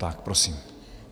Tak prosím.